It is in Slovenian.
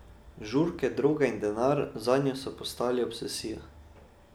Žurke, droga in denar zanjo so postali obsesija.